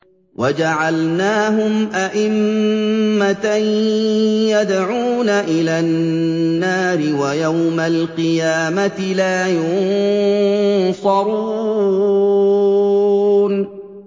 وَجَعَلْنَاهُمْ أَئِمَّةً يَدْعُونَ إِلَى النَّارِ ۖ وَيَوْمَ الْقِيَامَةِ لَا يُنصَرُونَ